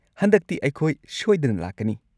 ꯍꯟꯗꯛꯇꯤ ꯑꯩꯈꯣꯏ ꯁꯣꯏꯗꯅ ꯂꯥꯛꯀꯅꯤ꯫